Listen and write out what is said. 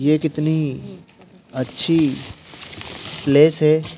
ये कितनी अच्छी प्लेस है।